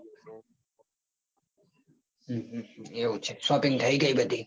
હમ હમ એવું છે shopping થઇ ગઈ બધી.